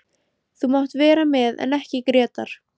Þú mátt vera með en ekki Grétar.